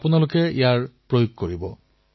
এই সংকল্প পূৰ্ণ ৰূপে পালন কৰিব